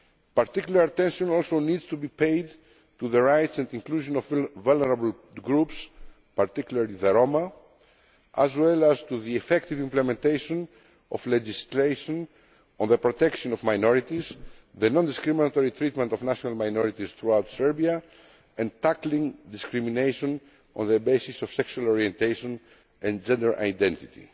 Particular attention also needs to be paid to the rights and inclusion of vulnerable groups, particularly the Roma, as well as to the effective implementation of legislation on the protection of minorities, the non discriminatory treatment of national minorities throughout Serbia, and tackling discrimination on the basis of sexual orientation and gender